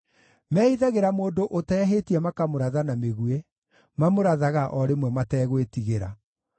Mehithagĩra mũndũ ũtehĩtie makamũratha na mĩguĩ; mamũrathaga o rĩmwe mategwĩtigĩra.